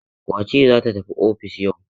Wace ce za ta tafi ofis yau?